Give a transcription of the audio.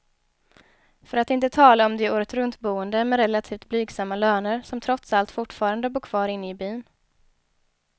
För att inte tala om de åretruntboende med relativt blygsamma löner, som trots allt fortfarande bor kvar inne i byn.